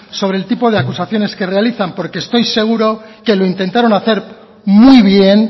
sobre el tipo de acusaciones que realizan porque estoy seguro que lo intentaron hacer muy bien